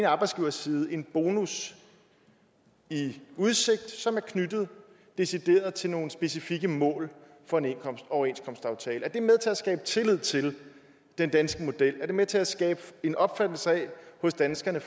arbejdsgiversiden en bonus i udsigt som decideret er knyttet til nogle specifikke mål for en overenskomstaftale er det med til at skabe tillid til den danske model er det med til at skabe en opfattelse hos danskerne